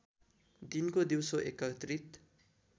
दिनको दिउँसो एकत्रित